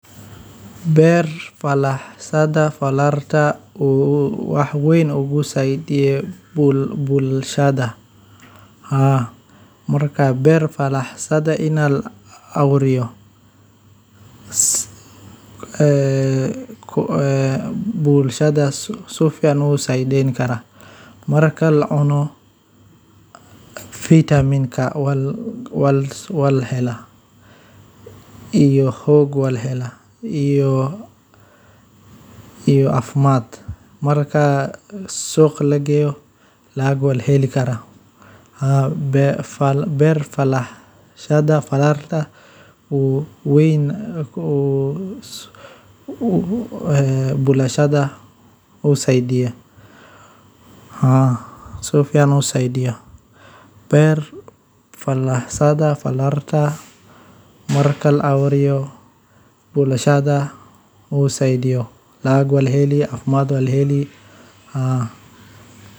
waajibaadkiisa nololeed sida shaqada, waxbarashada, iyo ka qaybgalka howlaha bulshada. Marka qofku caafimaad qabo, maskaxdiisu waxay si fiican u shaqaysaa, jidhkiisuna wuxuu awoodaa inuu la qabsado duruufaha kala duwan. Sidoo kale, caafimaadka wanaagsan wuxuu yareeyaa fursadda cudurrada faafa iyo kuwa daba-dheeraada, taas oo hoos u dhigta culayska dhaqaale iyo midka bulsho ee ay keenaan xanuunnada. Bulsho caafimaad qabta waxay ka dhigan tahay dhaqaale kobcaya, wax-soo-saar badan